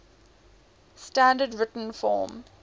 standard written form